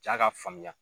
Jaa ka faamuya